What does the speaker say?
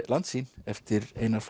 Landsýn eftir Einar